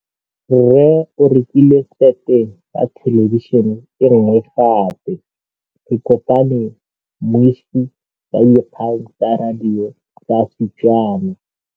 Rre o rekile sete ya thêlêbišênê e nngwe gape. Ke kopane mmuisi w dikgang tsa radio tsa Setswana.